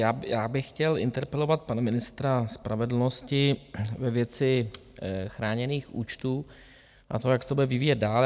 Já bych chtěl interpelovat pana ministra spravedlnosti ve věci chráněných účtů a toho, jak se to bude vyvíjet dál.